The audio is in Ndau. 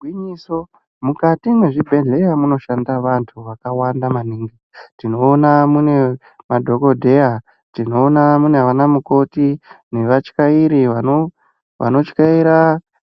Gwinyiso mukati mwezvibhedhleya munoshanda vantu vakawanda maningi tinoona mune madhokodheya tinoona munana mukoti nevatyairi vanotyairi vanotyaira